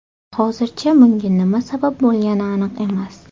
Hozircha bunga nima sabab bo‘lgani aniq emas.